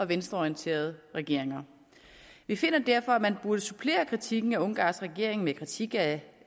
venstreorienterede regeringer vi finder derfor at man burde supplere kritikken af ungarns regering med kritik af